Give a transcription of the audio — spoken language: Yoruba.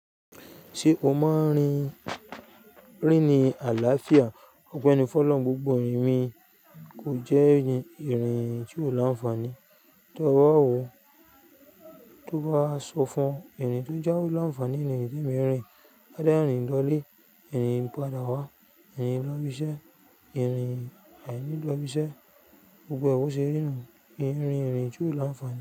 Ṣe o máa n rin rin ni àlàáfíà? Ọpẹni fọ̀lọhun gbogbo irin ko jẹ irin ti o la nfa ni. Tọ bá wọ, tọ bá sọ fún ẹni to jáwé lọ́nfà ni irin tí mo n rin. Ade rìn lọ lé, ẹ́ni padà wá, ẹ́ni lọ ibiṣẹ́, ẹ́ni aìní lọ ibiṣẹ́, gbogbo ẹ́ bó ṣe rí nu min rin irin ti o la nfa ni.